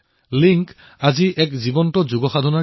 Lynch আজি যোগৰ এক জীৱন্ত সংস্থা হৈ পৰিছে